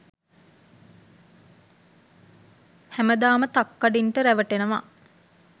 හැමදාම තක්කඩින්ට රැවටෙනව.